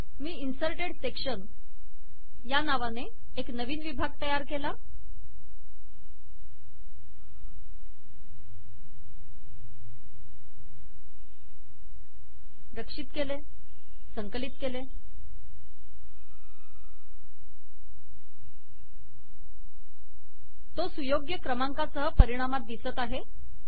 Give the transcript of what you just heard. मी inserted section या नावाने एक नवीन विभाग तयार केला तो सुयोग्य क्रमांकासह परिणामात दिसत आहे